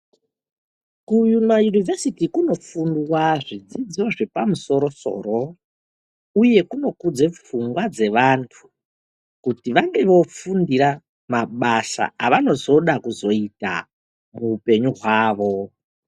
Kuma univhesiti kunofundwa zvidzidzo zvepamusoro soro uye kunudze pfungwa dzevanthu kuti vange vofundira mabasa avanozoda kuzoita kuupenyu hwavo.